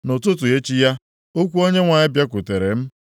Nʼụtụtụ echi ya, okwu Onyenwe anyị bịakwutere m,